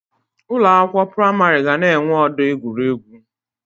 Ụlọ akwụkwọ pramarị ga na enwe ọdọ egwuregwu